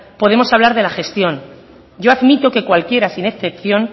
podemos hablar de la gestión yo admito que cualquiera sin excepción